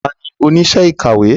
Ta ni oníṣẹ́ ìkàwé?